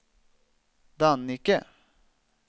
Dannike